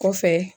Kɔfɛ